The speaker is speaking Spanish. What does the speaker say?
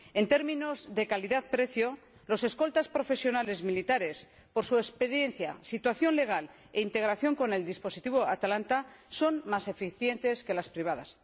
En términos de calidad precio, los escoltas profesionales militares son, por su experiencia, situación legal e integración con el dispositivo Atalanta, más eficientes que las empresas privadas.